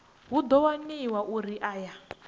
hu ḓo waniwa uri aya